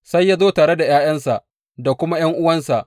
Sai ya zo tare da ’ya’yansa da kuma ’yan’uwansa.